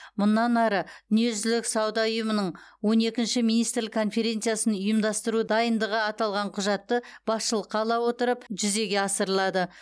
мұнан ары дүниежүзілік сауда ұйымының он екінші министрлік конференциясын ұйымдастыру дайындығы аталған құжатты басшылыққа ала отырып жүзеге асырылады